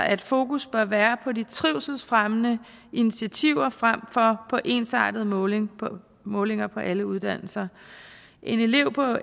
at fokus bør være på de trivselsfremmende initiativer frem for på ensartede målinger på målinger på alle uddannelser en elev på